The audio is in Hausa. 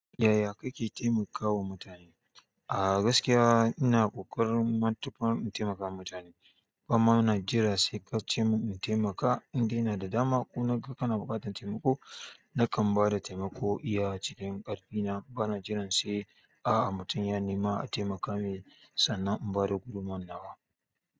Yaya kake taimakawa mutane? A gaskiya ina ƙoƙarin matuƙar in taimakawa mutane bama na jira saikace min in taimaka indai inada dama kuma naga kana buƙatar taimako nakan bada taimako iya cikin ƙarfi na bana jiran sai a'a mutum ya nema a taimaka mai sannan in bada gudummawana wa.